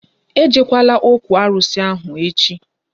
E jekwala ókwú arụsị echi!